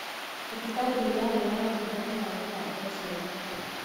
Thibitarĩ nĩiraheana ũtungata wa gũbanga ũciari